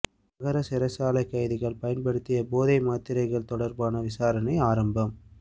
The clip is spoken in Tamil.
மஹர சிறைச்சாலை கைதிகள் பயன்படுத்திய போதை மாத்திரைகள் தொடர்பான விசாரணை ஆரம்பம்